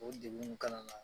O degunw kana na.